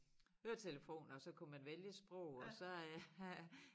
Høretelefoner og så kunne man vælge sprog og så øh øh